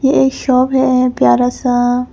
ये शॉप है प्यारा सा।